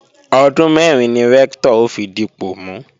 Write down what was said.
Ọdún mẹ́rin ni Rẹ́ktọ̀ ó fi dipọ̀ mú